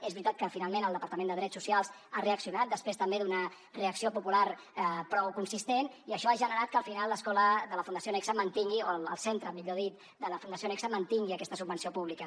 és veritat que finalment el departament de drets socials ha reaccionat després també d’una reacció popular prou consistent i això ha generat que al final l’escola de la fundació nexe o el centre millor dit de la fundació nexe mantingui aquesta subvenció pública